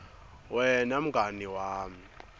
wena mngani wami